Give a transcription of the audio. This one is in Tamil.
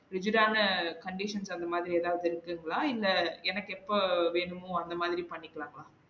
Rigid ஆன conditions அந்த மாதிரி எதாவது இருக்குங்களா? இல்ல எனக்கு எப்போ வேணுமோ அந்த மாதிரி பண்ணிக்கலாமா?